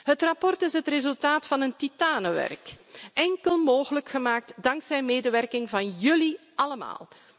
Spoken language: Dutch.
Het verslag is het resultaat van titanenwerk, enkel mogelijk gemaakt dankzij de medewerking van jullie allemaal.